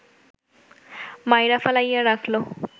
মাইরা ফালাইয়া রাখল